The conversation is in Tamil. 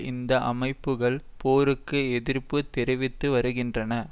இந்த அமைப்புகள் போருக்கு எதிர்ப்பு தெரிவித்து வருகின்றன